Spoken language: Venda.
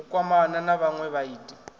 u kwamana na vhanwe vhaiti